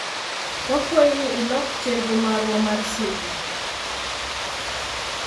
Wakwayi ni ilok chenro marwa mar seche.